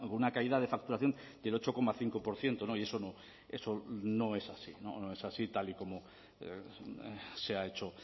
una caída de facturación del ocho coma cinco por ciento y eso no es así tal y como se ha hecho